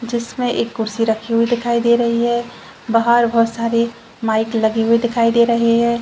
जिसमें एक कुर्सी रखी हुई दिखाई दे रही है बाहर बहुत सारी माइक लगी हुई दिखाई दे रही है।